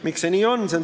Miks see nii on?